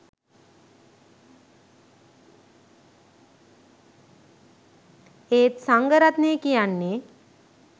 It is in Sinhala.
එත් සංඝ රත්නය කියන්නේ